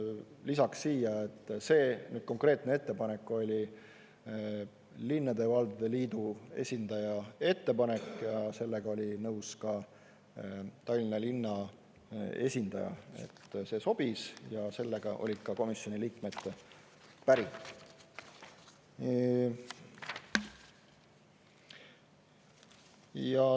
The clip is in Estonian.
Lisaks siia, et see konkreetne ettepanek oli linnade ja valdade liidu esindaja ettepanek ja sellega oli nõus ka Tallinna linna esindaja, et see sobis, ja sellega olid ka komisjoni liikmed päri.